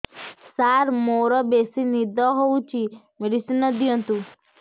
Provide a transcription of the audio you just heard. ସାର ମୋରୋ ବେସି ନିଦ ହଉଚି ମେଡିସିନ ଦିଅନ୍ତୁ